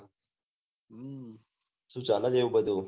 સુ ચાલે છે એવું બઘુ